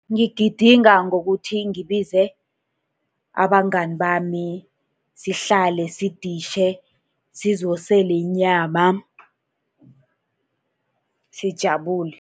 Ngigidinga ngokuthi ngibize abangani bami, sihlale siditjhe, sizosele inyama, sijabule.